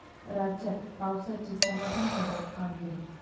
राज्यात पावसाची समाधानकारक कामगिरी